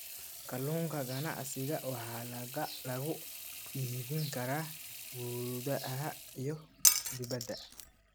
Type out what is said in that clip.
Kalluunka ganacsiga waxaa lagu iibin karaa gudaha iyo dibadda.